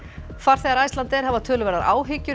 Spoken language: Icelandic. farþegar Icelandair hafa töluverðar áhyggjur